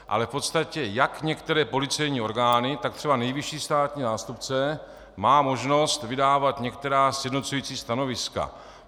Ale v podstatě jak některé policejní orgány, tak třeba nejvyšší státní zástupce má možnost vydávat některá sjednocující stanoviska.